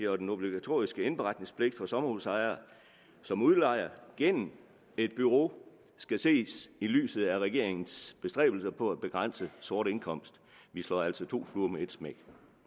og den obligatoriske indberetningspligt for sommerhusejere som udlejer gennem et bureau skal ses i lyset af regeringens bestræbelser på at begrænse sort indkomst vi slår altså to fluer med et smæk